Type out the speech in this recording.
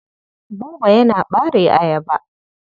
Buba yana ɓare ayaba.